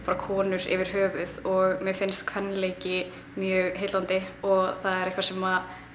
konur yfir höfuð mér finnst kvenleiki mjög heillandi og það er eitthvað sem